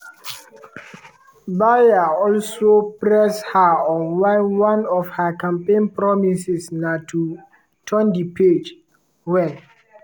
baier also press her on why one of her campaign promises na to “turn di page” wen